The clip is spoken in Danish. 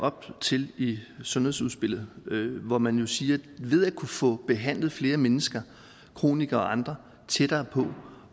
op til i sundhedsudspillet hvor man siger det at ved at kunne få behandlet flere mennesker kronikere og andre tættere på